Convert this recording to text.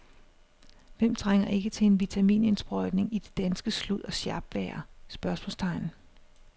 Hvem trænger ikke til en vitaminindsprøjtning i det danske slud og sjapvejr? spørgsmålstegn